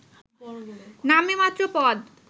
নামেমাত্র পদ